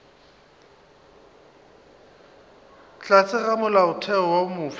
tlase ga molaotheo wo mofsa